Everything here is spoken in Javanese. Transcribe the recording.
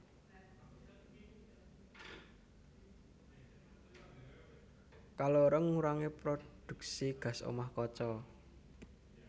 Kaloro ngurangi prodhuksi gas omah kaca